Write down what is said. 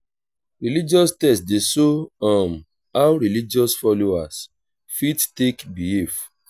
religious text dey show um how religious folowers fit take behave